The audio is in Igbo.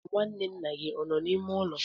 nwanne nna gị ọ nọ n'ime ụlọ?